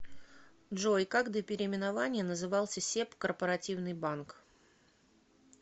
джой как до переименования назывался себ корпоративный банк